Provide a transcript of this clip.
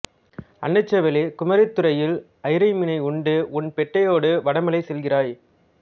அன்னச்சேவலே குமரித்துறையில் அயிரை மீனை உண்டு உன் பெட்டையோடு வடமலை செல்கிறாய்